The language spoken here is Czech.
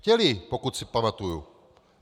Chtěli, pokud se pamatuji.